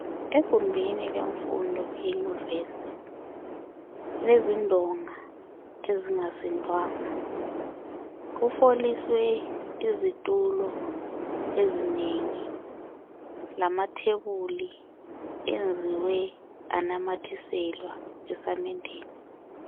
Egumbini lwemfundo iunivers ilezindonga ezingasindwanga kufoliswe izitulo ezinengi lamathebuli enziwe anamathiselwa esamendeni